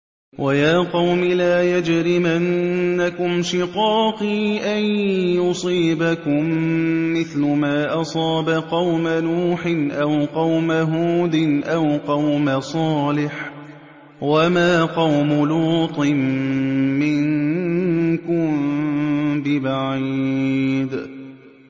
وَيَا قَوْمِ لَا يَجْرِمَنَّكُمْ شِقَاقِي أَن يُصِيبَكُم مِّثْلُ مَا أَصَابَ قَوْمَ نُوحٍ أَوْ قَوْمَ هُودٍ أَوْ قَوْمَ صَالِحٍ ۚ وَمَا قَوْمُ لُوطٍ مِّنكُم بِبَعِيدٍ